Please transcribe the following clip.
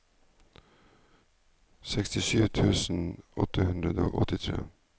sekstisju tusen åtte hundre og åttitre